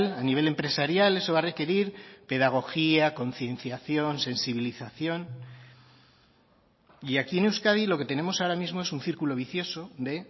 a nivel empresarial eso va a requerir pedagogía concienciación sensibilización y aquí en euskadi lo que tenemos ahora mismo es un círculo vicioso de